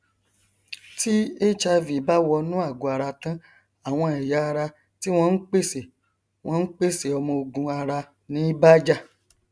ẹgbẹ yìí wàá rọ àwọn aláṣẹ fásitì náà láti tún èrò wọn pa lórí ìpinnu ohun kíákíá